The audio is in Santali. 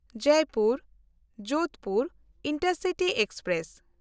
ᱡᱚᱭᱯᱩᱨ–ᱡᱳᱫᱷᱯᱩᱨ ᱤᱱᱴᱟᱨᱥᱤᱴᱤ ᱮᱠᱥᱯᱨᱮᱥ